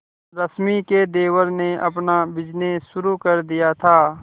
रश्मि के देवर ने अपना बिजनेस शुरू कर दिया था